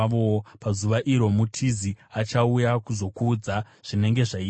pazuva iro mutizi achauya kuzokuudza zvinenge zvaitika.